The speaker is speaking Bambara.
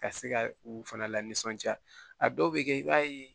Ka se ka u fana lanisɔndiya a dɔw bɛ kɛ i b'a ye